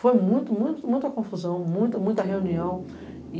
Foi muita confusão, muita reunião.